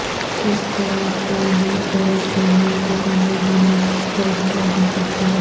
کس طرح پاینیرر درخت جنگل کی کامیابی میں کردار ادا کرتے ہیں